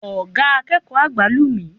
Oga akeeko agba lu mi